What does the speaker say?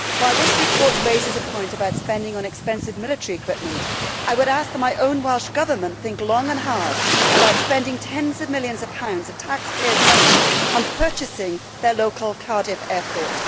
While this report raises a point about spending on expensive military equipment, I would ask that my own Welsh Government think long and hard about spending tens of millions of pounds of taxpayers' money on purchasing their local Cardiff airport.